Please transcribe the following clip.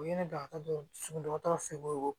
U ye ne da dɔgɔtɔrɔ sunɔgɔ fɛ ko